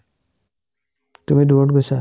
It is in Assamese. তুমি দূৰত গৈছা ?